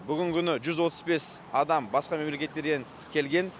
бүгінгі күні жүз отыз бес адам басқа мемлекеттерден келген